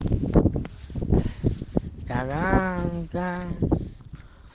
ага